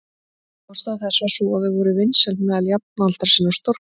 Ástæða þess var sú að þau voru vinsæl meðal jafnaldra sinna og stórglæsileg.